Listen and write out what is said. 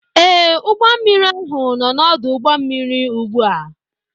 Ee, ụgbọ mmiri ahụ nọ n'ọdụ ụgbọ mmiri ugbu a